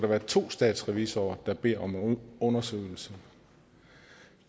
være to statsrevisorer der beder om en undersøgelse